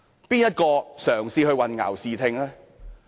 誰人嘗試混淆視聽呢？